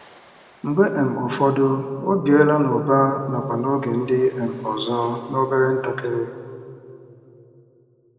Mgbe um ụfọdụ, o biela n'ụba nakwa n'oge ndị um ọzọ, n'obere ntakịrị.